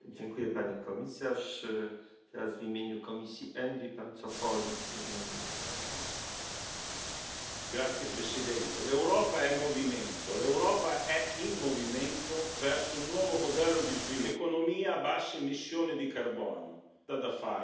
Este no es el camino, me parece que no es el terreno en el que nos corresponde trabajar como políticos, sino que es una obligación inexcusable atajarlas. Espero con toda sinceridad que este informe sirva de precedente para que el futuro de la movilidad europea sea otro, sea positivo para toda Europa. Ese es mi juicio y deseo.